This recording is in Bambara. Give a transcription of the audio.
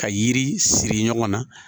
Ka yiri siri ɲɔgɔn na